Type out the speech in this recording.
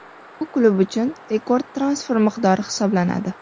Bu klub uchun rekord transfer miqdori hisoblanadi.